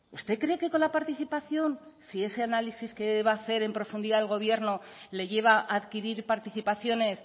usted cree que con la participación si ese análisis que va a hacer en profundidad el gobierno le lleva a adquirir participaciones